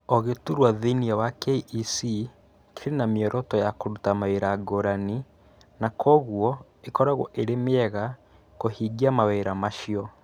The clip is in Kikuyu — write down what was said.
O gĩturwa thĩinĩ wa KEC kĩrĩ na mĩoroto ya kũruta mawĩra ngũrani, na kwoguo ĩkoragwo ĩrĩ mĩega kũhingia mawĩra macio.